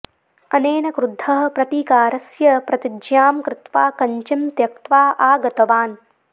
अनेन क्रुद्धः प्रतीकारस्य प्रतिज्ञां कृत्वा कञ्चिं त्यक्त्वा आगतवान्